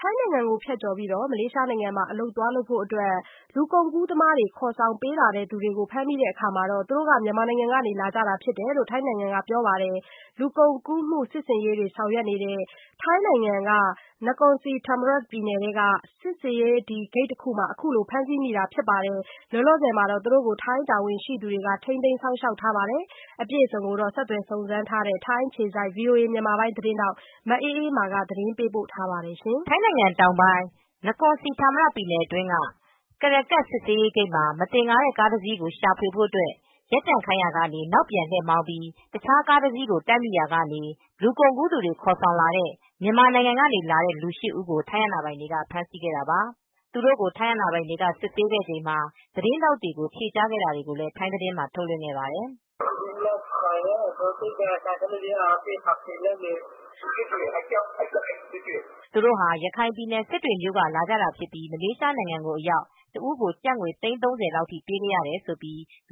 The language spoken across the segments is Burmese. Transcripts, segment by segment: ထိုင်းနိုင်ငံကိုဖြတ်ကျော်ပြီး မလေးရှားနိုင်ငံမှာ အလုပ်သွားလုပ်ဖို့ လူကုန်ကူးသမားတွေ ခေါ်ဆောင်ပေးလာသူတွေကို ဖမ်းမိတာမှာ သူတို့က မြန်မာနိုင်ငံက လာကြတာဖြစ်တယ်လို့ ထိုင်းနိုင်ငံက ပြောပါတယ်။ လူကုန်ကူးမှုစစ်ဆင်ရေးတွေဆောင်ရွတ်နေတဲ့ ထိုင်းနိုင်ငံ နကော်စီဌာမရာပြည်နယ်ထဲက စစ်ဆေးရေး ဂိတ်တခုမှာ အခုလိုဖမ်းဆီးမိတာဖြစ်ပါတယ်။ လောလောဆယ် ထိုင်းတာဝန်ရှိသူတွေက ထိမ်းသိမ်းစောင့်ရှောက်ထားတာပါ။အပြည့်အစုံကို စုံစမ်းထားတဲ့ ထိုင်းအခြေစိုက် ဗွီအိုအေသတင်းထောက် မအေးအေးမာက တင်ပြပေးထားပါတယ်။ ထိုင်းနိုင်ငံတောင်ပိုင်း၊ နကော်စဟီဌာမရာပြည်နယ်ထဲက ကရက်ကတ်စစ်ဆေးရေးဂိတ်မှာ မသင်္ကာတဲ့ကားတစီးကို ရှာဖွေဖို့ ရပ်တန့်ခိုင်းရာက နောက်ပြန် လှည့်မောင်းပြီး တခြားကားတစီးကို တိုက်မိရာကနေ လူကုန်ကူးသူတွေခေါ်လာတဲ့ မြန်မာနိုင်ငံက လူ ၈ ဦးကို ထိုင်းအာဏာပိုင်တွေ ဖမ်းဆီးခဲ့တာပါ။ သူတို့ကို ထိုင်းအာဏာပိုင်တွေကစစ်ဆေးချိန်မှာ သတင်းထောက်တွေကို ဖြေကြားခဲ့တာကို ထိုင်းသတင်းတွေမှာ ထုတ်လွှင့်ခဲ့ပါတယ်။ သူတို့ဟာ ရခိုင်ပြယ်နယ်၊ စစ်တွေမြို့က လာကြတာဖြစ်ပြီး မလေးရှားနိုင်ငံအရောက် တဦးကို ကျပ်ငွေ သိန်း ၃၀ လောက်အထိ ပေးခဲ့ရတယ်လု့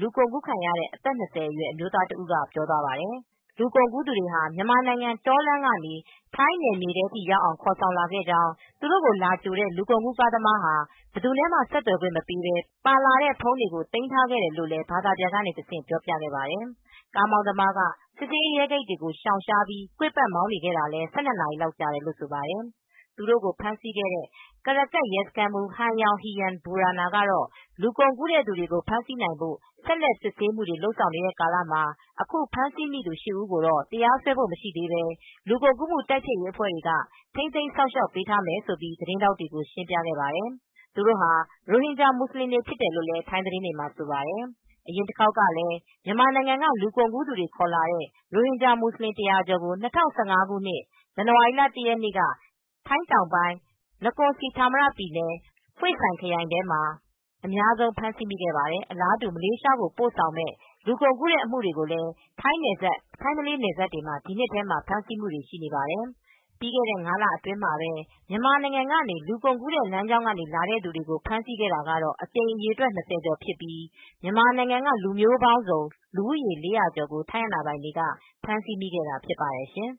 လူကုန်ကူးခံရသူ အသက် ၂၀ အရွယ် အမျိုးသားတဦးက ပြောသွားပါတယ်။ လူကုန်ကူးသူတွေက မြန်မာနိုင်ငံတောလမ်းကနေ ထိုင်းနယ်မြေထဲရောက်အောင် ခေါ်ဆောင်လာခဲ့ကြောင်း၊ သူတို့ကိုလာကြိုတဲ့ လူကုန်ကူးကားသမား ဟာ ဘယ်သူနဲ့မှ ဆက်သွယ်ခွင့်မပေးဘဲ ပါလာတဲ့ဖုန်းတွေကို သိမ်းထားခဲ့တယ်လို့လည်း ဘာသာပြန်ကနေတဆင့် ပြောပြပါတယ်။ ကားမောင်းသမားက စစ်ဆေးရေး ရဲဂိတ်တွေကို ရှောင်ရှားပြီး ကွေ့ပတ်တ်မောင်းနေခဲ့တာလည်း ၁၂ နာရီလောက် ကြာတယ်လို့ ဆိုပါတယ်။ သူတို့ကို ဖမ်းဆီးခဲ့တဲ့ ကရကပ် ရဲစခန်းမှူး ယန်ယောင် ဟီရမ် ဘူရာနာ ကတော့ လူကုန်ကူးတဲ့သူတွေကို ဖမ်းဆီးရမိရေး ဆက်လက် စစ်ဆေးနေတဲ့ ကာလမှာ အခုဖမ်းဆီးဦးသူ (၈) ဦးကို တရားစွဲဖို့မရှိသေးဘဲ လူကုန်ကူးမှု တိုက်ဖျက်ရေးအဖွဲ့တွေက ထိမ်းသိမ်းစောင့်ရှောက်ပေးထားမယ်လို့ သတင်းထောက်တွေကို ရှင်းပြခဲ့ပါတယ်။ သူတို့ဟာ ရိုဟင်ဂျာ မူဆလင်တွေဖြစ်တယ်လိုလည်း ထိုင်းသတင်းတွေမှာ ဆိုပါတယ်။ အရင်တခေါက်ကလည်း မြန်မာနိုင်ငံက လူကုန်ကူးသူတွေ ခေါ်လာတဲ့ ရိုဟင်ဂျာမူဆလင် ၁၀၀ ကျော်ကို ၂၀၁၅ ဇန်နဝါရီလ ၁၁ နေ့က ထိုင်းနိုင်ငံ တောင် ပိုင်း နကော်စီဌာမရ ပြည်နယ် Hua Sai ဟွေ့ဆိုင်ခရိုင်အတွင်းမှာ အများဆုံးဖမ်းမိခဲ့ဖူးပါတယ်။ အလားတူ မလေးရှားကိုပို့ဆောင်မယ့် လူကုန်ကူးတဲ့ အမှုတွေလည်း ထိုင်းနယ်စပ် ထိုင်းမလေးနယ်စပ်တွေမှာ ဒီနှစ်ထဲမှာ ဖမ်းဆီးမိနေပြီး ပြီးခဲ့တဲ့ ၅ လအတွင်းမှာပဲ မြန်မာနိုင်ငံကနေ လူကုန်ကူးတဲ့ လမ်းကြောင်းကလာသူတွေကို ဖမ်းဆီးခဲ့တာကတော့ အကြိမ်အရေအတွက် ၂၀ ကျော်ပြီဖြစ်ပြီး မြန်မာနိုင်ငံက လူမျိုးပေါင်းစုံ လူဦးရေစုစုပေါင်း ၄၀၀ ကျော်ကို ထိုင်းအာဏာပိုင်တွေက ဖမ်းဆီးမိခဲ့တာဖြစ်ပါတယ်ရှင်။